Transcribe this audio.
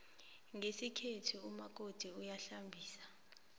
ngesikhethu umakoti uyahlambisa